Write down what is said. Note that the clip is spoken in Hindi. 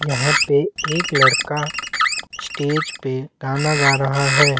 यहाँ पे एक लड़का स्टेज पे गाना गा रहा है।